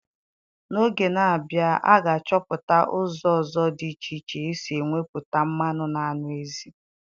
N'oge na abịa a ga achọpụta ụzọ ọzọ dị iche iche esi enweputa mmanụ na anụ ezi